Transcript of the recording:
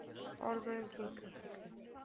Ormurinn kinkar kolli.